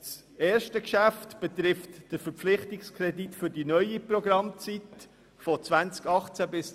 Das erste Geschäft betrifft den Verpflichtungskredit für die neue Programmzeit 2018–2022.